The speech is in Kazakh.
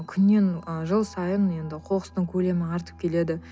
күннен ы жыл сайын енді қоқыстың көлемі артып келеді